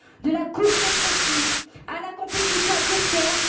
de la course au profit, à la compétition à court terme.